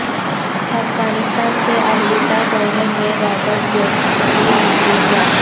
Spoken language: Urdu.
افغانستان کے الوداعی دورے میں رابرٹ گیٹس کی مصروفیات